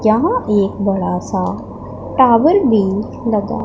यहां एक बड़ा सा टावर भी लगा--